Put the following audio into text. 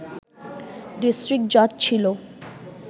district জাজ ছিল